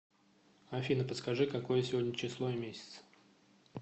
афина подскажи какое сегодня число и месяц